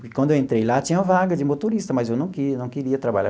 Porque quando eu entrei lá, tinha vaga de motorista, mas eu não que não queria trabalhar.